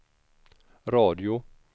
radio